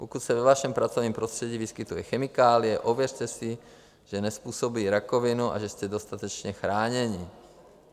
Pokud se ve vašem pracovním prostředí vyskytuje chemikálie, ověřte si, že nezpůsobuje rakovinu a že jste dostatečně chráněni.